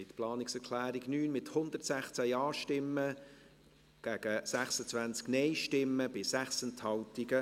Sie haben die Planungserklärung 9 angenommen, mit 116 Ja- gegen 26 Nein-Stimmen bei 6 Enthaltungen.